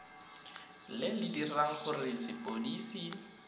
le le dirang gore lepodisi